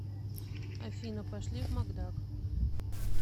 афина пошли в макдак